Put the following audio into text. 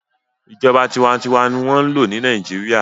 Ìjọba tinwatinwa n wọ́n lò ní Nàìjíríyà